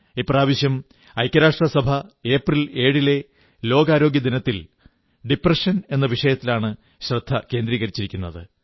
ഇപ്രാവശ്യം ഐക്യരാഷ്ട്രസഭ ഏപ്രിൽ 7 ലെ ലോകാരോഗ്യദിനത്തിൽ ഡിപ്രഷൻ എന്ന വിഷയത്തിലാണ് ശ്രദ്ധ കേന്ദ്രീകരിക്കുന്നത്